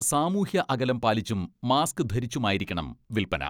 സാമൂഹ്യ അകലം പാലിച്ചും മാസ്ക് ധരിച്ചുമായിരിക്കണം വിൽപ്പന.